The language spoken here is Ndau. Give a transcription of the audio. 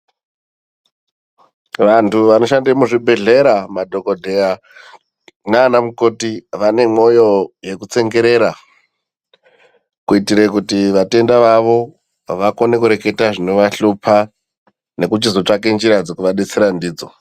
Vanthu vanoshande muzvibhedhlera madhokodheya nana mukoti vane mwoyo yeku tsongerera kuitire kuti vatenda vavo vakone kureketa zvinovahlupa nekuchizotsvake njira dzekuvadetsera ndidzo.